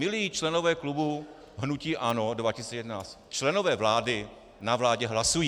Milí členové klubu hnutí ANO 2011, členové vlády na vládě hlasují.